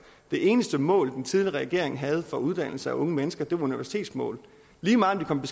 det eneste mål den tidligere regering havde for uddannelse af unge mennesker var universitetsmål lige meget om